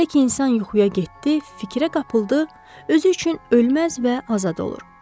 Elə ki insan yuxuya getdi, fikrə qapıldı, özü üçün ölməz və azad olur.